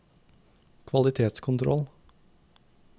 kvalitetskontroll